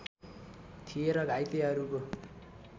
थिए र घाइतेहरूको